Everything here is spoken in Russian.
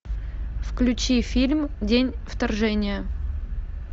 включи фильм день вторжения